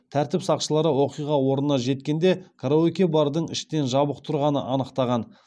тәртіп сақшылары оқиға орнына жеткенде караоке бардың іштен жабық тұрғанын анықтаған